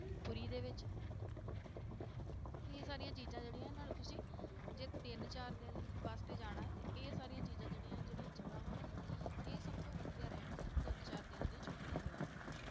ਪੁਰੀ ਦੇ ਵਿੱਚ ਇਹ ਸਾਰੀਆਂ ਚੀਜ਼ਾਂ ਜਿਹੜੀਆਂ ਇਹਨਾਂ ਤੇ ਤੁਸੀਂ ਜੇ ਤਿੰਨ ਚਾਰ ਦਿਨ ਵਾਸਤੇ ਜਾਣਾ ਹੈ ਤੇ ਇਹ ਸਾਰੀਆਂ ਚੀਜ਼ਾਂ ਜਿਹੜੀਆਂ ਹੈ ਜਿਹੜੀਆਂ ਜਗ੍ਹਾਵਾਂ ਨੇ ਇਹ ਸਭ ਤੋਂ ਵਧੀਆ ਰਹਿਣਗੀਆਂ ਤਿੰਨ ਚਾਰ ਦਿਨਾਂ ਦੀਆਂ ਛੁੱਟੀਆਂ ਦੇ ਵਾਸਤੇ।